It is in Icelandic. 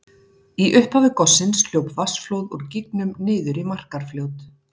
Í upphafi gossins hljóp vatnsflóð úr gígnum niður í Markarfljót.